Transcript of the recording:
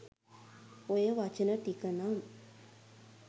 ඔය වචන ටික නම්